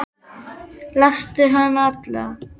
Lastu hana alla?